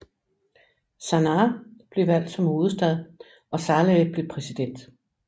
Sanaá blev valgt som hovedstad og Saleh blev præsident